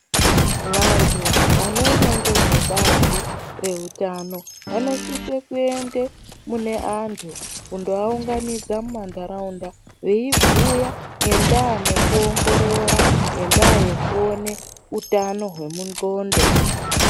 Vantu vanoona ngezvebazi reutano vanosise kuende mune antu kundovaunganidza munharaunda veivabhuyira ngendaa yeutano hwendxondo.